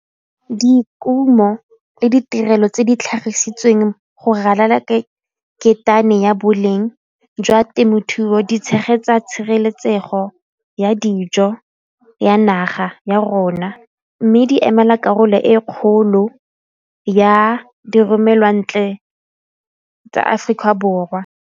Dikumo le ditirelo tse di tlhagisitsweng go ralala ketane ya boleng jwa temothuo di tshegetsa tshireletsego ya dijo ya naga ya rona mme di emela karolo e kgolo ya diromelwantle tsa Aforika Borwa.